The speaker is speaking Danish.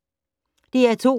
DR2